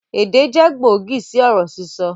Èdè jẹ gbòógì sì ọ̀rọ̀ sísọ